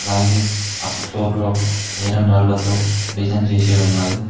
అలాగే అ ఫ్లోర్లో ఐరన్ డార్లతో డిజైన్ చేసి ఉన్నది.